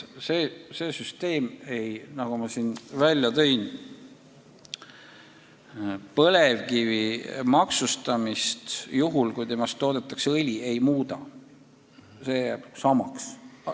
See süsteem, mille ma siin välja tõin, põlevkivi maksustamist juhul, kui sellest toodetakse õli, ei muuda, see jääb samaks.